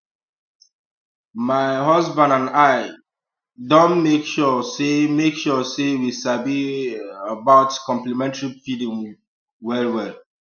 um my husband and i um don dey make sure say make sure say we sabi um about complementary feeding wellwell